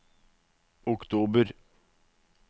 oktober